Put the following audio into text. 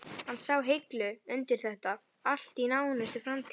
Hann sá hilla undir þetta allt í nánustu framtíð.